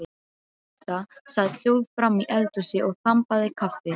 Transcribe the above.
Marta sat hljóð framí eldhúsi og þambaði kaffi.